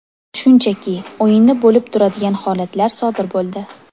Shunchaki, o‘yinda bo‘lib turadigan holatlar sodir bo‘ldi.